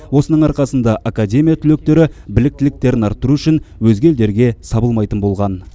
осының арқасында академия түлектері біліктіліктерін арттыру үшін өзге елдерге сабылмайтын болған